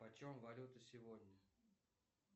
почем валюта сегодня